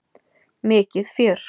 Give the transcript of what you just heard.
Mikið fjör!